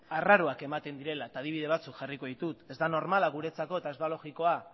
arraro ematen direla eta adibide batzuk jarriko ditut ez da normala guretzako eta ez da logikoa